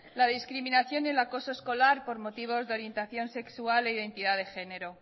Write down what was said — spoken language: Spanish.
la discriminación y el acoso escolar por motivos de orientación sexual e identidad de género